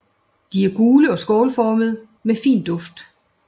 De er gule og skålformede med fin duft